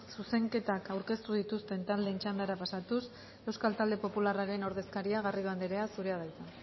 zuzenketak aurkeztu dituzten taldeen txandara pasatuz euskal talde popularraren ordezkaria garrido anderea zurea da hitza